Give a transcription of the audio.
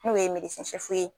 N'o ye sɛfu ye.